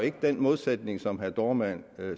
ikke den modsætning som herre dohrmann